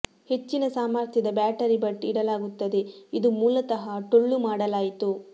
ಹೆಚ್ಚಿನ ಸಾಮರ್ಥ್ಯದ ಬ್ಯಾಟರಿ ಬಟ್ ಇಡಲಾಗುತ್ತದೆ ಇದು ಮೂಲತಃ ಟೊಳ್ಳು ಮಾಡಲಾಯಿತು